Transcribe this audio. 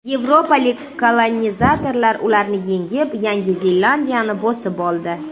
Yevropalik kolonizatorlar ularni yengib, Yangi Zelandiyani bosib oldi.